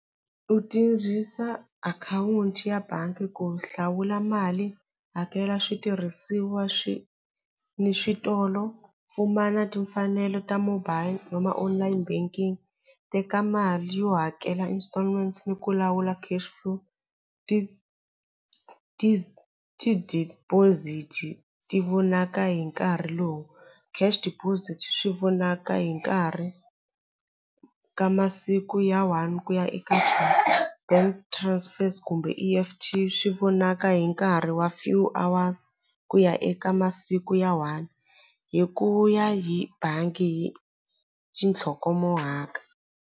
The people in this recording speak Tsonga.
U tirhisa akhawunti ya bangi ku hlawula mali hakela switirhisiwa swi ni switolo pfumala timfanelo ta mobile vo ma online banking teka mali yo hakela installments ni ku lawula cash flow ti ti-deposit-i ti vonaka hi nkarhi lowu cash deposit swi vonaka hi nkarhi ka masiku ya one ku ya eka two bank transfers kumbe E_F_T swi vonaka hi nkarhi wa few hours ku ya eka masiku ya one hi ku ya hi bangi yi .